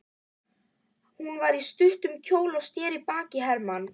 Hún var í stuttum kjól og sneri baki í Hermann.